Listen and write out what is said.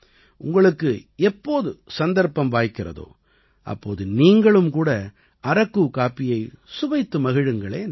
உங்களுக்கு எப்போது சந்தர்ப்பம் வாய்க்கிறதோ அப்போது நீங்களும் கூட அரக்கு காப்பியை சுவைத்து மகிழுங்களேன்